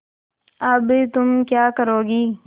अब तुम क्या करोगी